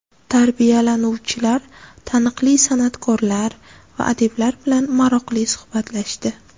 Tarbiyalanuvchilar taniqli san’atkorlar va adiblar bilan maroqli suhbatlashdi.